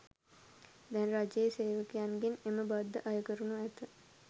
දැන් රජයේ සේවකයන්ගෙන් එම බද්ද අය කරනු ඇත.